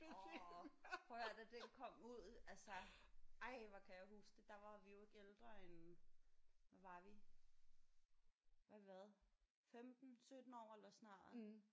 Orh prøv at hør da den kom ud altså ej hvor kan jeg huske det der var vi jo ikke ældre end hvad var vi hvad har vi været 15 17 år eller sådan noget